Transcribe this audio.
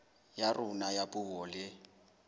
ya rona ya puo le